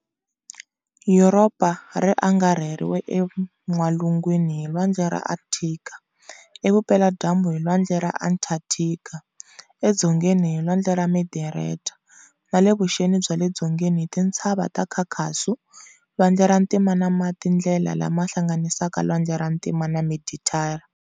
Yuropa ri angarhiwe enwalungwini hi Lwandle ra Akthika, e vupela-dyambu hi Lwandle ra Atlanthika, e dzongeni hi Lwandle ra Meditera, na le vuxeni bya le dzongeni hi Tintshava ta Khakhasu, Lwandle ra Ntima na matindlela lama hlanganisaka Lwandle ra Ntima na Meditera.